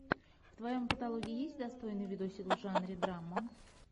в твоем каталоге есть достойный видосик в жанре драма